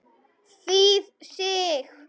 Þýð. Sig.